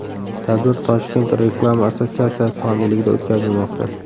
Tadbir Toshkent Reklama assotsiatsiyasi homiyligida o‘tkazilmoqda.